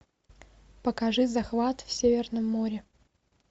покажи захват в северном море